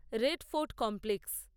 red Fort complex